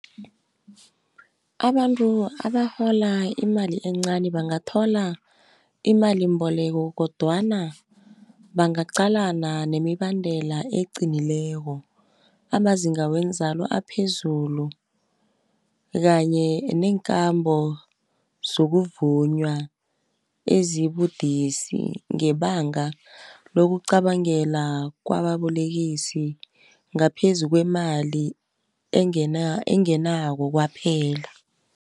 Abantu abarhola imali encani bangathola imalimboleko, kodwana bangaqalana nemibandela eqinileko. Amazinga wenzalo aphezulu, kanye neenkambo sokuvunywa ezibudisi. Ngebanga lokucabangela kwababolekisi ngaphezu kwemali engenako kwaphela.